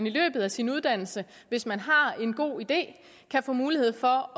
i løbet af sin uddannelse hvis man har en god idé kan få mulighed for